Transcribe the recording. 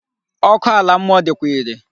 Ọkụ ala mmụọ dịkwa irè.